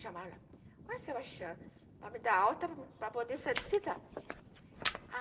chamá-la a Sebastiana, para me dar alta para poder sair do hospital.